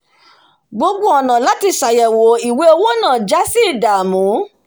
gbogbo ònà láti sàyèwò ìwé owo náà jásí ìdàmú